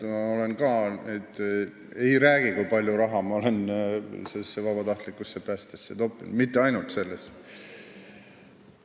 Ma ka ei räägi, kui palju raha ma olen vabatahtlikusse päästesse toppinud, ja mitte ainult sellesse.